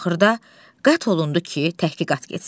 Axırda qətl olundu ki, təhqiqat getsin.